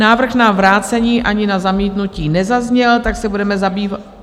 Návrh na vrácení ani na zamítnutí nezazněl, tak se budeme zabývat....